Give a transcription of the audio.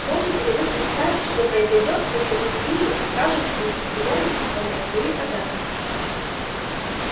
можете ли вы представить что произойдёт если мы свиньи окажемся не в состоянии исполнять свои обязанности